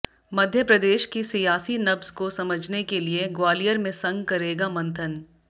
मध्य प्रदेश की सियासी नब्ज को समझने के लिए ग्वालियर में संघ करेगा मंथन